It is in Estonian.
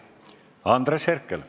Andres Herkel.